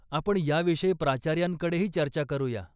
आपण याविषयी प्राचार्यांकडेही चर्चा करूया.